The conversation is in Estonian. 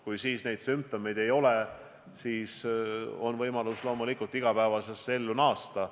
Kui sel ajal neid sümptomeid ei ole, siis on võimalik igapäevasesse ellu naasta.